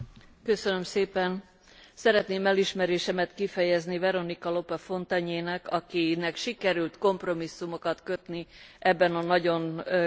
Szeretném elismerésemet kifejezni Veronika Lope Fontagné nek, akinek sikerült kompromisszumokat kötni ebben a nagyon kényes témában is.